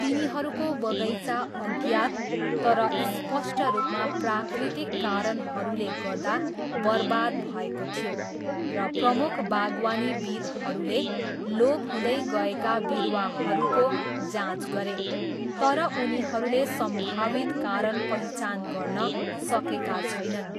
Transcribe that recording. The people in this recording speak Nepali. तिनीहरूको बगैँचा अज्ञात, तर स्पष्ट रूपमा प्राकृतिक कारणहरूले गर्दा बर्बाद भएको थियो, र प्रमुख बागवानीविद्हरूले लोप हुँदै गएका बिरुवाहरूको जाँच गरे तर उनीहरूले सम्भावित कारण पहिचान गर्न सकेका छैनन्।